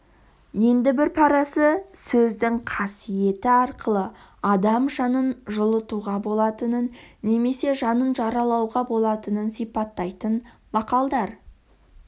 енді бір парасы сөздің қасиеті арқылы адам жанын жылытуға болатынын немесе жанын жаралауға болатынын сипаттайтын мақалдар